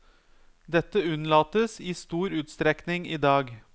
Dette unnlates i stor utstrekning i dag.